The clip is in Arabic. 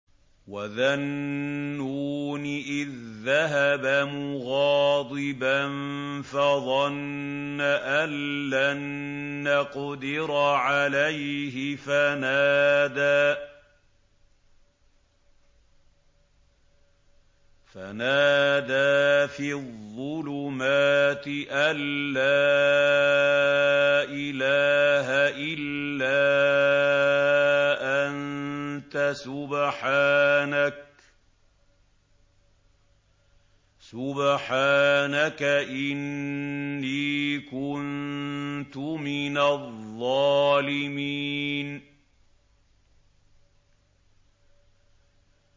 وَذَا النُّونِ إِذ ذَّهَبَ مُغَاضِبًا فَظَنَّ أَن لَّن نَّقْدِرَ عَلَيْهِ فَنَادَىٰ فِي الظُّلُمَاتِ أَن لَّا إِلَٰهَ إِلَّا أَنتَ سُبْحَانَكَ إِنِّي كُنتُ مِنَ الظَّالِمِينَ